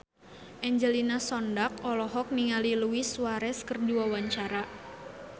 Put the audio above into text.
Angelina Sondakh olohok ningali Luis Suarez keur diwawancara